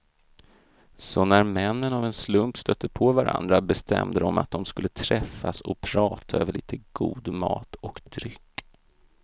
Så när männen av en slump stötte på varandra bestämde de att de skulle träffas och prata över lite god mat och dryck.